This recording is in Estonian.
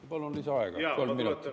Aga samas ei ole mingit muutust.